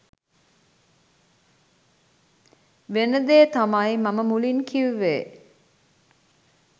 වෙනදේ තමයි මම මුලින් කිවුවෙ.